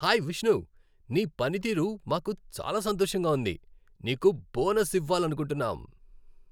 Hi Vishnu, నీ పనితీరు మాకు చాలా సంతోషంగా ఉంది, నీకు బోనస్ ఇవ్వాలనుకుంటున్నాం.